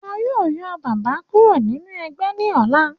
Wọ́n yó yọ bàbá kúrò nínú ẹgbẹ́ ní ọ̀la.